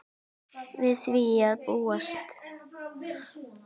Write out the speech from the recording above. Við því er að búast.